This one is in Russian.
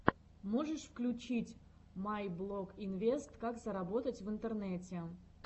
можешь включить майблогинвест как заработать в интернете